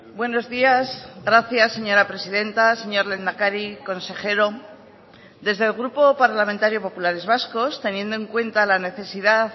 buenos días gracias señora presidenta señor lehendakari consejero desde el grupo parlamentario populares vascos teniendo en cuenta la necesidad